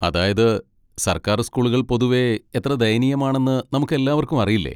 അതായത്, സർക്കാർ സ്കൂളുകൾ പൊതുവെ എത്ര ദയനീയമാണെന്ന് നമുക്കെല്ലാവർക്കും അറിയില്ലേ?